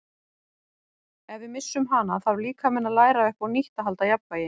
Ef við missum hana þarf líkaminn að læra upp á nýtt að halda jafnvægi.